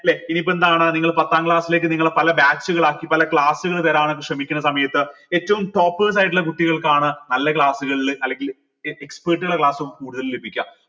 ല്ലെ ഇനി ഇപ്പൊ എന്താണ് നിങ്ങൾ പത്താം class ലേക്ക് നിങ്ങള പല batch കളാക്കി പല class കൾ തരാൻ ശ്രമിക്കുന്ന സമയത്ത് ഏറ്റവും top side ലെ കുട്ടികൾക്കാണ് നല്ല class കളിൽ അല്ലെങ്കിൽ class കൂടുതൽ ലഭിക്കാ